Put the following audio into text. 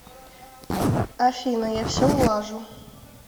афина я все улажу